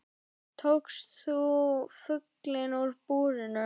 Tókst þú fuglinn úr búrinu?